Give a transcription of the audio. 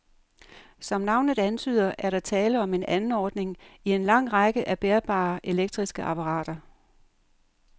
Som navnet antyder, er der tale om en anordning i en lang række af bærbare elektriske apparater.